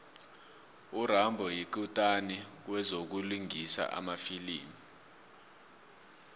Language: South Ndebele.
urambo yikutani kwezokulingisa emafilimini